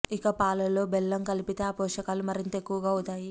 ఇక పాలలో బెల్లం కలిపితే ఆ పోషకాలు మరింత ఎక్కువ అవుతాయి